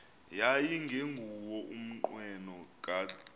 yayingenguwo umnqweno kadr